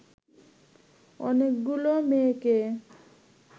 অনেকগুলো মেয়েকে